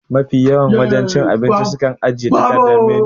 Ma fi yawan wajen cin abinci su ajiye takardan menu